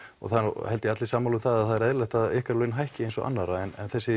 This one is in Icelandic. það eru held ég allir sammála um það að það er eðlilegt að ykkar laun hækki eins og annarra en þessi